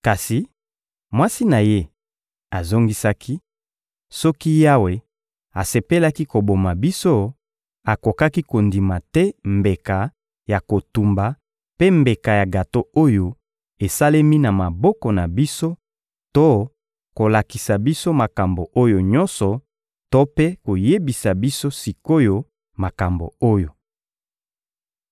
Kasi mwasi na ye azongisaki: — Soki Yawe asepelaki koboma biso, akokaki kondima te mbeka ya kotumba mpe mbeka ya gato oyo esalemi na maboko na biso to kolakisa biso makambo oyo nyonso to mpe koyebisa biso sik’oyo makambo oyo.